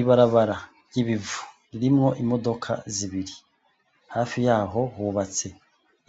Ibarabara ry'ibivu, ririmwo imodoka zibiri. Hafi yaho hubatse